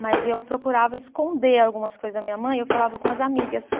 Mas eu procurava esconder algumas coisas da minha mãe, eu falava com as amigas.